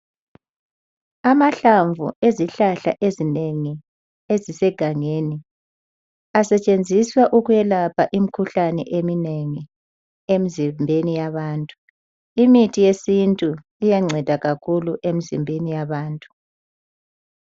Amahlamvu ezihlahla ezinengi ezisegangeni asetshenziswa ukwelapha imkhuhlane eminengi emzimbeni yabantu. Imithi yesintu iyanceda kakhulu emizimbeni yabantu.